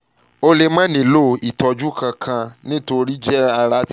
o lè má nílò ìtọ́jú ìtọ́jú kankan nítorí pé ara ń bójú tó ọ